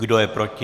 Kdo je proti?